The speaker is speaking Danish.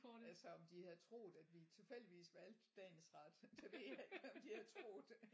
Altså om de havde troet at vi tilfældigvis valgte dagens ret det ved jeg ikke om de havde troet